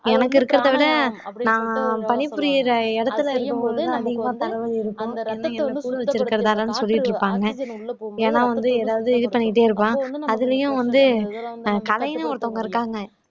எனக்கு இருக்கிறதை விட நான் பணிபுரியுற இடத்துல இருக்கும்போது நான் அதிகமா தலை வலி இருக்கும் சொல்லிட்டு இருப்பாங்க ஏன்னா வந்து எதாவது இது பண்ணிட்டே இருப்பான் அதுலயும் வந்து கலைன்னு ஒருத்தவங்க இருக்காங்க